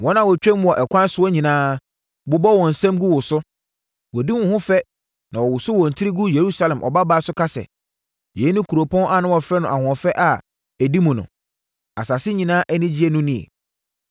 Wɔn a wɔtwam wo ɛkwan soɔ nyinaa bobɔ wɔn nsam gu wo so; wɔdi wo ho fɛ na wɔwoso wɔn tiri gu Yerusalem Ɔbabaa so ka sɛ, “Yei ne kuropɔn a na wɔfrɛ no ahoɔfɛ a ɛdi mu no? Asase nyinaa anigyedeɛ no nie?”